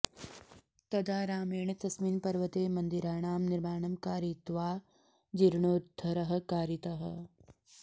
तदा रामेण तस्मिन् पर्वते मन्दिराणां निर्माणं कारयित्वा जीर्णोद्धरः कारितः